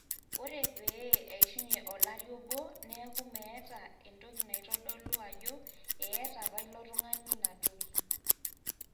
ore pee eishunye olari obo neeku meeta entoki naitodolu ajo eeta apa ilo tung'ani ina toki